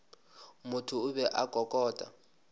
motho o be a kokota